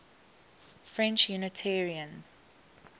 french unitarians